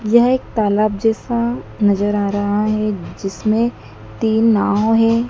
यह एक तालाब जैसा नजर आ रहा है जिसमें तीन नाव है।